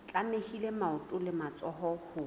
tlamehile maoto le matsoho ho